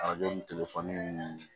Arajo ni telefɔni ninnu